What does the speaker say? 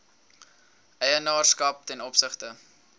eienaarskap ten opsigte